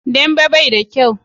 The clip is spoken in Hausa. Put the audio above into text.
Dambe bai da kyau